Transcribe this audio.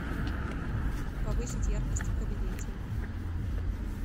повысить яркость в кабинете